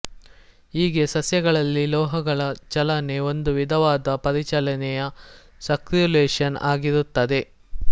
ಹೀಗೆ ಸಸ್ಯಗಳಲ್ಲಿ ಲೋಹಗಳ ಚಲನೆ ಒಂದು ವಿಧವಾದ ಪರಿಚಲನೆಯೇ ಸಕ್ರ್ಯುಲೇಷನ್ ಆಗಿರುತ್ತದೆ